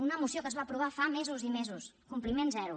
una moció que es va aprovar fa mesos i mesos compliment zero